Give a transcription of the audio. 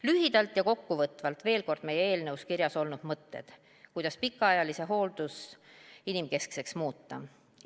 Lühidalt ja kokkuvõtvalt veel kord meie eelnõus kirjas olnud mõtted, kuidas pikaajaline hooldus inimkeskseks muuta.